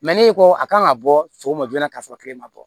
ne ko a kan ka bɔ sɔgɔma joona ka sɔrɔ ma bɔ